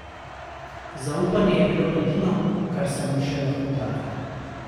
Zaupanje je bilo edino, kar sem mu še lahko dala.